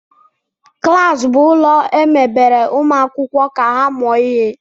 Klas bụ ụlọ emebere ụmụ akwụkwọ ka ha mụọ ihe